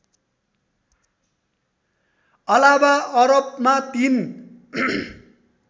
अलावा अरबमा ३